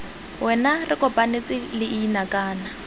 wena re kopanetse leina kana